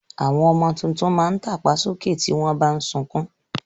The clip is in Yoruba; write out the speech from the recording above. Àwọn ọmọ tuntun máa ń tàpá sókè tí wọn bà ń sunkún